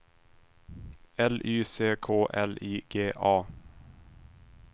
L Y C K L I G A